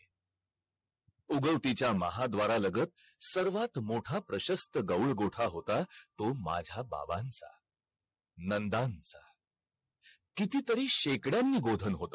KFC ,foundation course